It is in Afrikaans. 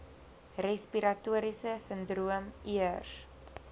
respiratoriese sindroom ears